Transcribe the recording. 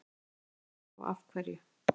Ef svo er, þá af hverju?